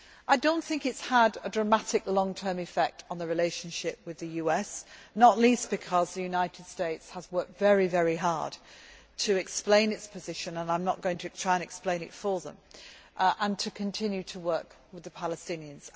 I do not think it has had a dramatic long term effect on the relationship with the US, not least because the United States has worked very hard to explain its position and I am not going to try to explain it for them and to continue to work with the Palestinians.